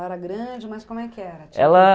era grande, mas como é que era? Ela...